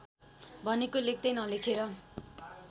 भनेको लेख्दै नलेखेर